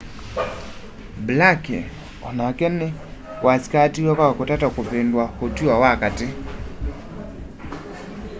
blake onake nĩwasĩkatiwe kwa kũtata kũvĩndũa ũtũo wa katĩ